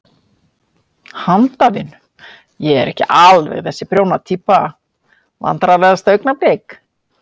Handavinnu, ég er ekki alveg þessi prjóna týpa Vandræðalegasta augnablik?